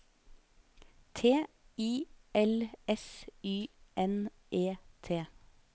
T I L S Y N E T